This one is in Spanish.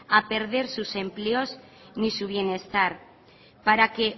a perder sus empleos ni su bienestar para que